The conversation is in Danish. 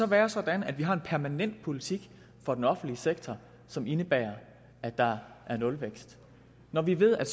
være sådan at vi har en permanent politik for den offentlige sektor som indebærer at der er nulvækst når vi ved at